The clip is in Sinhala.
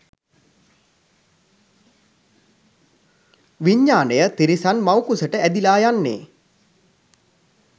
විඤ්ඤාණය තිරිසන් මව්කුසට ඇදිලා යන්නේ